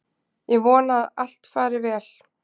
Ég vona að allt fari vel.